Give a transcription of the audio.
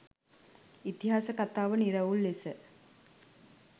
ඉතිහාස කතාව නිරවුල් ලෙස